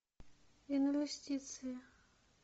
инвестиции